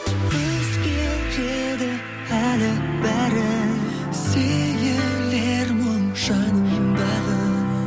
өзгереді әлі бәрі сейілер мұң жаныңдағы